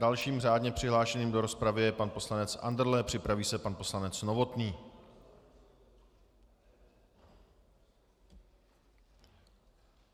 Dalším řádně přihlášeným do rozpravy je pan poslanec Andrle, připraví se pan poslanec Novotný.